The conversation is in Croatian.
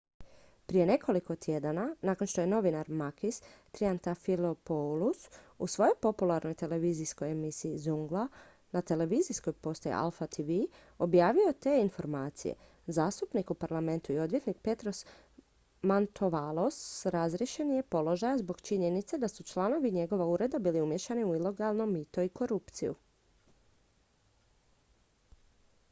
"prije nekoliko tjedana nakon što je novinar makis triantafylopoulos u svojoj popularnoj televizijskoj emisiji "zoungla" na televizijskoj postaji alpha tv objavio te informacije zastupnik u parlamentu i odvjetnik petros mantouvalos razriješen je položaja zbog činjenice da su članovi njegova ureda bili umiješani u ilegalno mito i korupciju.